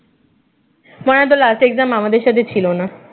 মনে হয়ে তোর last exam আমাদের সাথে ছিল না